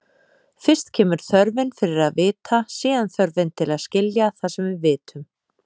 Fyrst kemur þörfin fyrir að vita, síðan þörfin til að skilja það sem við vitum.